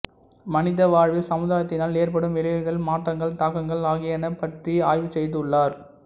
மனித வாழ்வில் சமுதாயத்தினால் ஏற்படும் விளைவுகள் மாற்றங்கள் தாக்கங்கள் ஆகியன பற்றி ஆய்வு செய்துள்ளார்